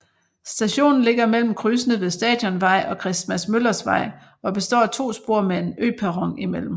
Stationen ligger mellem krydsene med Stadionvej og Christmas Møllers Vej og består af to spor med en øperron imellem